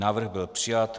Návrh byl přijat.